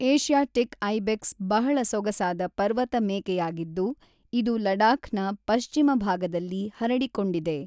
Asiatic ibex ಬಹಳ ಸೊಗಸಾದ ಪರ್ವತ-ಮೇಕೆಯಾಗಿದ್ದು ಇದು ಲಡಾಖ್‌ನ ಪಶ್ಚಿಮ ಭಾಗದಲ್ಲಿ ಹರಡಿಕೊಂಡಿದೆ.